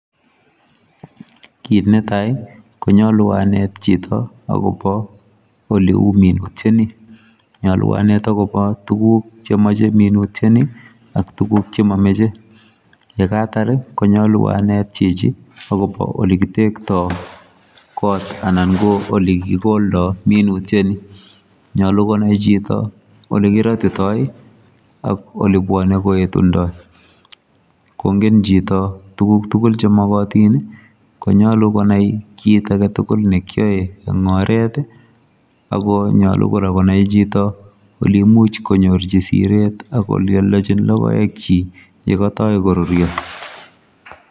Kit netai ii konyaluu aneet chitoo agobo ole uu minutiet nii , nyaluu aneet agobo tuguuk che machei minutiet nii ak tuguuk che mamachei , ye kaitaar ii konyaluu aneet chichi agobo ole kitektoi koot anan ko ole kigoldaa minutiet nii, nyaluu konai chitoo ole kiratitoi ii ak ole bwane ko etundoi kongen chitoo tuguuk tugul che magatiin ii konyaluu konai kit age tugul ne kiyae en oret ii ako nyaluu kora konai chitoo kole imuuch konyoorjii sireet ako lelanyiin logoek kyiik ye katoi koruria.